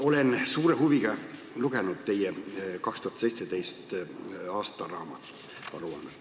Olen suure huviga lugenud teie 2017. aasta aruannet.